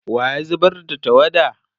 wa ya zubar da tawada?